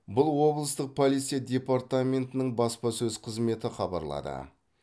бұл облыстық полиция департаментінің баспасөз қызметі хабарлады